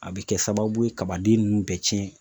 A bɛ kɛ sababu ye kabaden ninnu bɛ cɛn